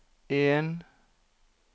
en